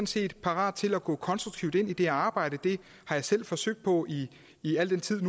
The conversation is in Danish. set parate til at gå konstruktivt ind i det arbejde det har jeg selv forsøgt på i i al den tid